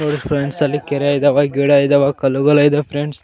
ನೋಡ್ ಫ್ರೆಂಡ್ಸ್ ಅಲ್ಲಿ ಕೆರೆ ಇದಾವ ಗಿಡ ಇದಾವ ಕಲ್ಲುಗಳಿದಾವ ಫ್ರೆಂಡ್ಸ್ .